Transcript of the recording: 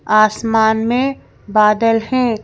आसमान में बादल हैं।